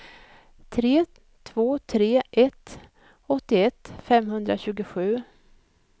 tre två tre ett åttioett femhundratjugosju